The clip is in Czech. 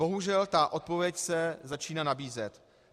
Bohužel ta odpověď se začne nabízet.